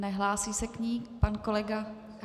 Nehlásí se k ní pan kolega?